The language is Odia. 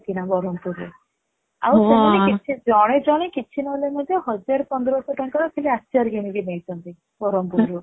କିଣା ବ୍ରହ୍ମପୁର ରେ ଆଉ ସେମାନେ କିଛି ଜଣେ ଜଣେ କିଛି ନହେଲେ ମଧ୍ୟ ହଜାରେ ପନ୍ଦରଶହ ଟଙ୍କାର ଖାଲି ଆଚାର କିଣି କି ନେଇଛନ୍ତି ବ୍ରହ୍ମପୁର ରୁ